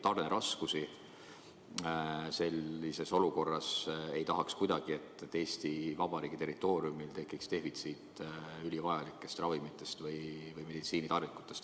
Sellises olukorras ei tahaks kuidagi, et Eesti Vabariigi territooriumil tekiks defitsiit ülivajalikest ravimitest või meditsiinitarvikutest.